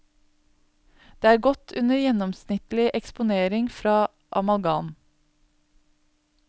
Det er godt under gjennomsnittlig eksponering fra amalgam.